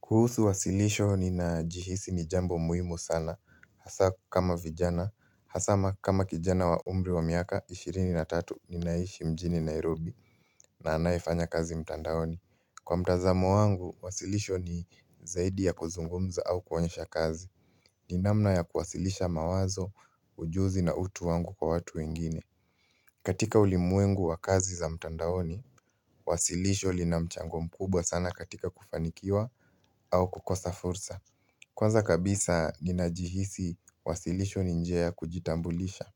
Kuhusu wasilisho ninajihisi ni jambo muhimu sana hasa kama vijana, hasa kama kijana wa umri wa miaka ishirini na tatu ninaishi mjini Nairobi na anayefanya kazi mtandaoni. Kwa mtazamo wangu, wasilisho ni zaidi ya kuzungumza au kuonyesha kazi ni namna ya kuwasilisha mawazo, ujuzi na utu wangu kwa watu wengine. Katika ulimwengu wa kazi za mtandaoni Wasilisho lina mchango mkubwa sana katika kufanikiwa au kukosa fursa. Kwanza kabisa ninajihisi wasilisho ni njia ya kujitambulisha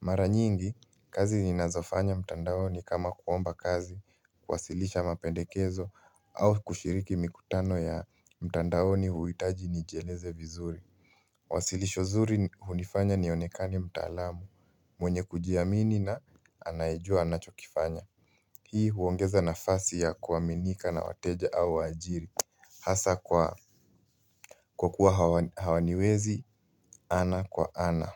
Mara nyingi, kazi ninazofanya mtandaoni kama kuomba kazi, kuwasilisha mapendekezo au kushiriki mikutano ya mtandaoni huhitaji nijieleze vizuri Wasilisho zuri hunifanya nionekane mtaalamu mwenye kujiamini na anayejua anachokifanya Hii huongeza nafasi ya kuaminika na wateja au waajiri Hasa kwa kuwa hawaniwezi ana kwa ana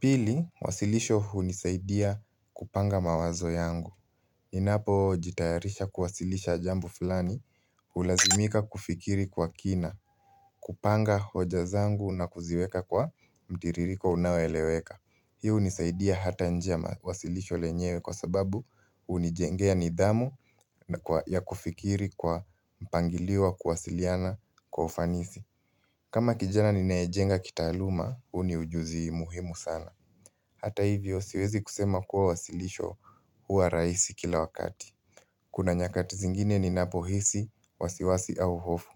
Pili, wasilisho hunisaidia kupanga mawazo yangu Ninapojitayarisha kuwasilisha jambu fulani Hulazimika kufikiri kwa kina kupanga hoja zangu na kuziweka kwa mtiririko unaoeleweka. Hii hunisaidia hata nje ya wasilisho lenyewe kwa sababu hunijengea nidhamu ya kufikiri kwa mpangilio ya kuwasiliana kwa ufanisi kama kijana ninayejenga kitaaluma, huu ni ujuzi muhimu sana. Hata hivyo siwezi kusema kuwa wasilisho huwa rahisi kila wakati. Kuna nyakati zingine ninapohisi, wasiwasi au hofu.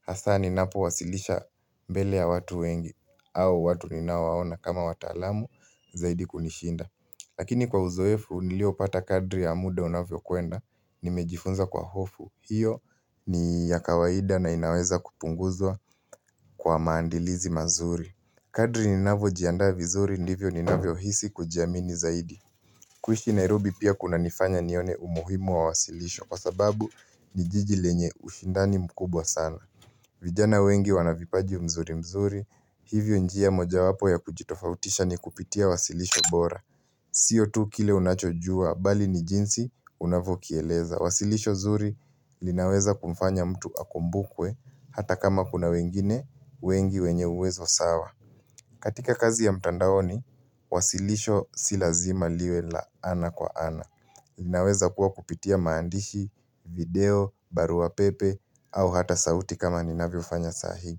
Hasa ninapowasilisha mbele ya watu wengi au watu ninawaona kama wataalamu zaidi kunishinda. Lakini kwa uzoefu niliopata kadri ya muda unavyokwenda, nimejifunza kwa hofu. Hiyo ni ya kawaida na inaweza kupunguzwa kwa maandilizi mazuri. Kadri ninavojiandaa vizuri ndivyo ninavyohisi kujiamini zaidi kuishi Nairobi pia kunanifanya nione umuhimu wa wasilisho kwa sababu ni jiji lenye ushindani mkubwa sana vijana wengi wana vipaji mzuri mzuri. Hivyo njia mojawapo ya kujitofautisha ni kupitia wasilisho bora Sio tu kile unachojua bali ni jinsi unavyo kieleza. Wasilisho zuri linaweza kumfanya mtu akumbukwe hata kama kuna wengine wengi wenye uwezo sawa. Katika kazi ya mtandaoni, wasilisho si lazima liwe la ana kwa ana. Linaweza kuwa kupitia maandishi, video, baruapepe au hata sauti kama ninavyofanya sahiim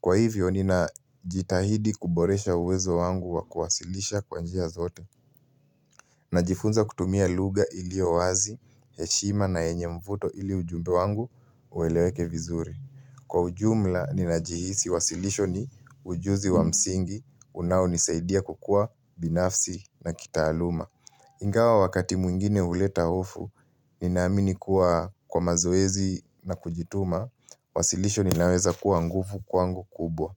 Kwa hivyo ninajitahidi kuboresha uwezo wangu wa kuwasilisha kwa njia zote Najifunza kutumia lugha iliyo wazi, heshima na yenye mvuto ili ujumbe wangu ueleweke vizuri. Kwa ujumla, ninajihisi wasilisho ni ujuzi wa msingi, unaonisaidia kukua binafsi na kitaaluma. Ingawa wakati mwingine huleta hofu, ninaamini kuwa kwa mazoezi na kujituma, wasilisho ninaweza kuwa nguvu kwangu kubwa.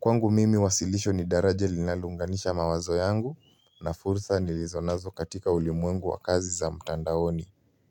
Kwangu mimi wasilisho ni daraja linalounganisha mawazo yangu na fursa nilizonazo katika ulimwengu wa kazi za mtandaoni.